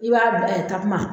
I b'a bila yen takuma